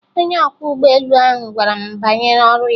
Onye ọkwọ ụgbọelu ahụ gwara m banyere ọrụ ya